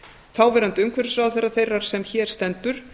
þáverandi umhverfisráðherra þeirrar sem hér stendur